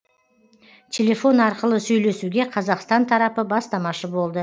телефон арқылы сөйлесуге қазақстан тарапы бастамашы болды